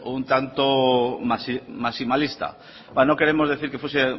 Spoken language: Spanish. un tanto maximalista no queremos decir que fuese